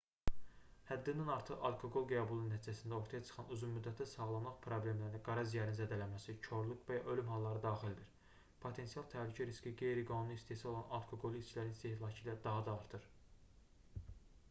həddindən artıq alkoqol qəbulu nəticəsində ortaya çıxan uzun müddətli sağlamlıq problemlərinə qara ciyərin zədələnməsi korluq və ölüm halları daxildir potensial təhlükə riski qeyri-qanuni istehsal olunan alkoqollu içkilərin istehlakı ilə daha da artır